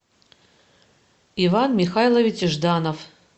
иван михайлович жданов